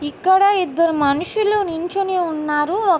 ఇక్కడ ఇద్దరు మనుషులు నించుని ఉన్నారు.ఒక --